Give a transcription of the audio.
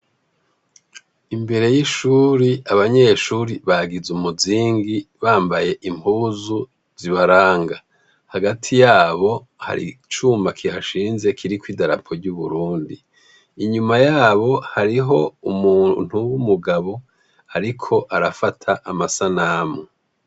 imbere y'ishuri abanyeshuri bagize umuzingi bambaye impuzu zibaranga hagati yabo hari icuma kihashinze kiriko idarapo ry'Uburundi inyuma yabo hariho umuntu w'umugabo ariko arafata amasanamu